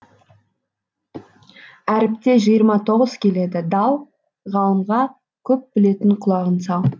әріпте жиырма тоғыз келеді дал ғалымға көп білетін құлағың сал